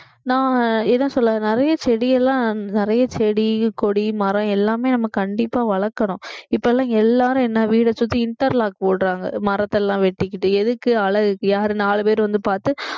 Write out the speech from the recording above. நான் என்ன சொல்றது நிறைய செடி எல்லாம் நிறைய செடி கொடி மரம் எல்லாமே நம்ம கண்டிப்பா வளர்க்கிறோம் இப்ப எல்லாம் எல்லாரும் என்ன வீட்டைச் சுத்தி interlock போடுறாங்க மரத்த எல்லாம் வெட்டிக்கிட்டு எதுக்கு அழகு யாரு நாலு பேர் வந்து பார்த்து